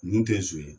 Nin tɛ so ye